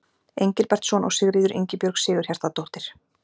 Engilbertsson og Sigríður Ingibjörg Sigurhjartardóttir.